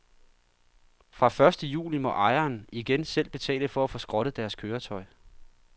Fra første juli må ejerne igen selv betale for at få skrottet deres køretøj.